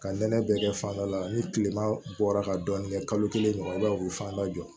Ka nɛnɛ bɛɛ kɛ fandɔ la ni kilema bɔra ka dɔɔnin kɛ kalo kelen ɲɔgɔn na u bi fan dɔ jɔ